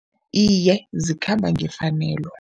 Iye, zikhamba ngefanelo.